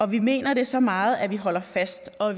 vi mener det så meget at vi holder fast og